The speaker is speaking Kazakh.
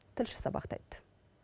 тілші сабақтайды